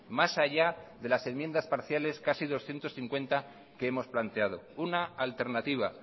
más allá de las enmiendas parciales casi doscientos cincuenta que hemos planteado una alternativa